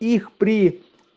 их при